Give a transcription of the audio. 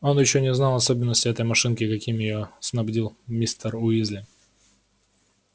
он ещё не знал особенностей этой машинки каким её снабдил мистер уизли